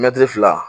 Mɛtiri fila